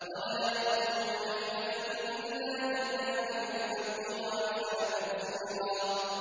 وَلَا يَأْتُونَكَ بِمَثَلٍ إِلَّا جِئْنَاكَ بِالْحَقِّ وَأَحْسَنَ تَفْسِيرًا